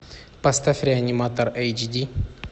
поставь реаниматор эйч ди